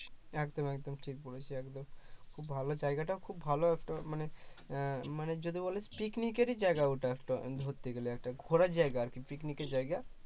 একদম একদম ঠিক বলেছিস একদম খুব ভালো জায়গাটা খুব ভালো একটা মানে একটা আহ মানে যদি বলে picnic এরই জায়গা ওটা একটা ধরতে গেলে একটা ঘোরার জায়গা আর কি picnic এর জায়গা